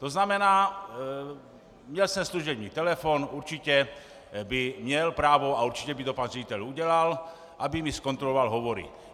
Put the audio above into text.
To znamená, měl jsem služební telefon, určitě by měl právo a určitě by to pan ředitel udělal, aby mi zkontroloval hovory.